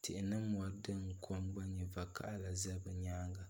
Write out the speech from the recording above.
tihi ni mori bɛ ni kom gba nyɛ vakaɣali do bi nyaanga